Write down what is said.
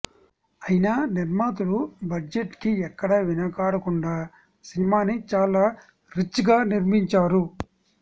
అయినా నిర్మాతలు బడ్జెట్కి ఎక్కడా వెనకాడకుండా సినిమాని చాలా రిచ్గా నిర్మించారు